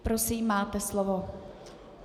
Prosím, máte slovo.